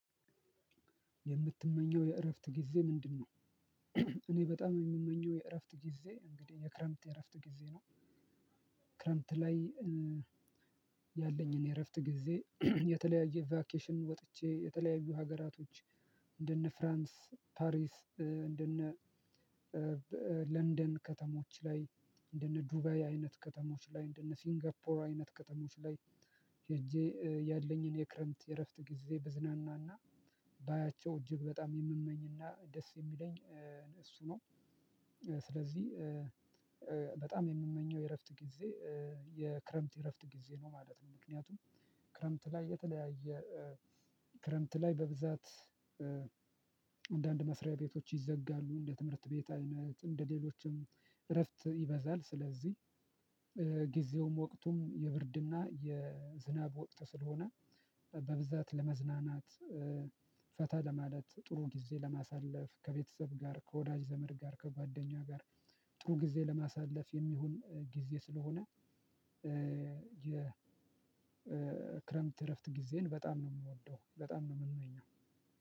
የምትመኘው የእረፍት ጊዜ ምንድነው? እኔ በጣም የምመኘው የእረፍት ጊዜ እንግዲህ የክረምት የእረፍት ጊዜ ነው። ክረምት ላይ ያለኝን የእረፍት ጊዜ የተለያዩ ቫኬሽን ወጥቼ የተለያዩ ሀገራቶች እንደነ ፍራንስ ፓሪስ እንደነ ለንደን ከተሞች ላይ እንደነ ዱባይ አይነት ከተሞች ላይ እንደነ ሲንጋፖር አይነት ከተሞች ላይ ሄጄ ያለኝን የክረምት የእረፍት ጊዜ ብዝና እና ባያቸው እጅግ በጣም የምመኝና ደስ የሚለኝ። እሱ ነው። ስለዚህ ባጣም የምመኘው የእረፍት ጊዜ የክረምት የእረፍት ጊዜ ነው ማለት ነው። ምክንያቱም ክረምት ላይ የተለያየ ክረምት ላይ በብዛት አንዳንድ መስሪያ ቤቶች ይዘጋሉ እንደ ትምህርት ቤት አይነት እንደ ሌሎችም እረፍት ይበዛል። ስለዚህ ጊዜውም ወቅቱም የብርድ እና የዝናብ ወቅት ስለሆነ በብዛት ለመዝናናት ፈታ ለማለት ጥሩ ጊዜ ለማሳለፍ ከቤተሰብ ጋር ከወዳጅ ዘመድ ጋር ከጓደኛ ጋር ጥሩ ጊዜ ለማሳለፍ የሚሆን ጊዜ ስለሆነ። የ ክረምት እረፍት ጊዜን በጣም ነው የምወደው በጣም ነው የምመኘው።